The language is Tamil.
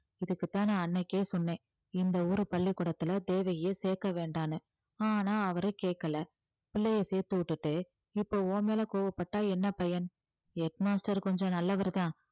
இதுக்கு தான் நான் அன்னைக்கே சொன்னேன் இந்த ஊரு பள்ளிக்கூடத்துல தேவகிய சேர்க்க வேண்டான்னு ஆனா அவரை கேக்கல பிள்ளையை சேர்த்து விட்டுட்டு இப்ப உன் மேல கோபப்பட்டா என்ன பயன் head master கொஞ்சம் நல்லவர்தான்